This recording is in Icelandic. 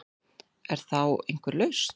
Er þá einhver lausn